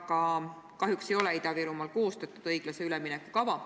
Aga kahjuks ei ole Ida-Virumaal koostatud õiglase ülemineku kava.